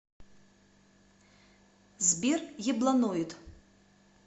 сбер ебланоид